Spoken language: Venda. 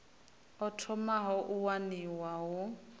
o thomaho u waniwa hu